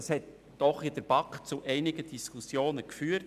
Das hat in der BaK doch zu einigen Diskussionen geführt.